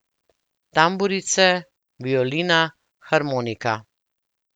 Tamburice, violina, harmonika ...